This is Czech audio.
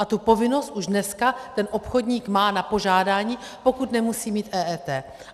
A tu povinnost už dneska ten obchodník má na požádání, pokud nemusí mít EET.